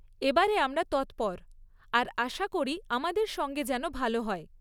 এবারে আমরা তৎপর আর আশা করি আমাদের সঙ্গে যেন ভালো হয়।